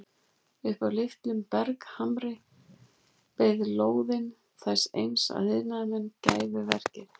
Upp af litlum berghamri beið lóðin þess eins að iðnaðarmenn hæfu verkið.